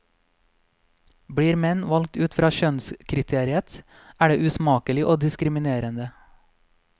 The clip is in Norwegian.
Blir menn valgt ut fra kjønnskriteriet er det usmakelig og diskriminerende.